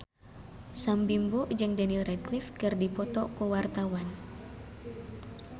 Sam Bimbo jeung Daniel Radcliffe keur dipoto ku wartawan